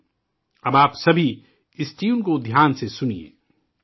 اب، آپ سبھی اس ٹیون کو غور سے سنئے...